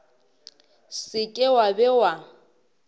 se ke wa be wa